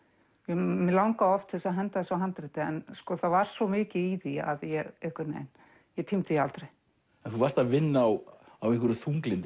mig langaði oft til að henda þessu handriti en það var svo mikið í því að ég einhvern veginn ég tímdi því aldrei en þú varst að vinna á einhverju þunglyndi